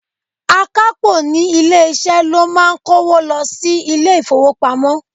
Akapo ní ilé-isẹ ló máa ń kówo lọ sí ilé-ifowopamo.